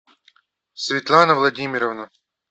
светлана владимировна